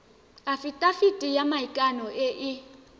afitafiti ya maikano e e